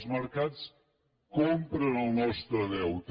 els mercats compren el nostre deute